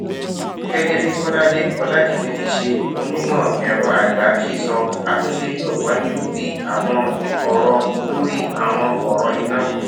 gégé bí kolade folajimi tíí ṣe onímò èrọ àgbà ṣe sọ àtúnṣe yóò wáyé lórí àwọn òrò lórí àwọn òrò iná